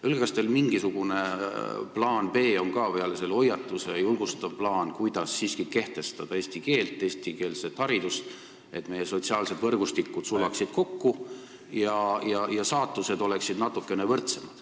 Öelge, kas teil on peale hoiatuse ka mingisugune varuplaan, julgustav plaan, kuidas siiski kehtestada eesti keelt ja eestikeelset haridust, et meie sotsiaalsed võrgustikud sulaksid kokku ning saatused oleksid natukene võrdsemad.